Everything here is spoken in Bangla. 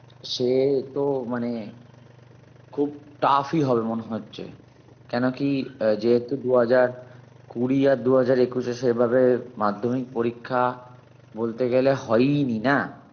সে তো মানে খুব tough ই হবে মনে হচ্ছে কেন কি আহ যেহেতু দু হাজার কুড়ি আর দু হাজার একুশে সেভাবে মাধ্যমিক পরীক্ষা বলতে গেলে হয়ই নি না